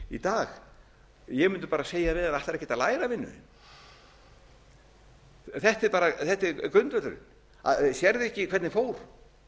í dag ég benda bara segja við hann ætlarðu ekkert að læra vinur þetta er grundvöllurinn sérðu ekki hvernig fór